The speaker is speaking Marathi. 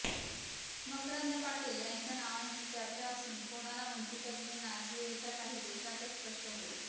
मकरंद पाटील यांच्या नावांची चर्चा असून कोणाला मंत्रिपद मिळणार हे येत्या काही दिवसातच स्पष्ट होईल